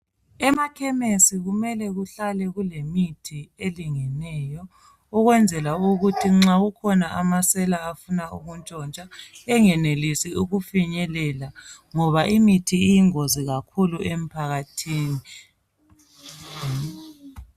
Emakhemisi kumele kuhlale kulemithi elingeneyo ukwenzela ukuthi nxa kukhona amasela afuna ukutshontsha engenelisi ukufinyelela ngoba imithi iyingozi kakhulu emphakathini.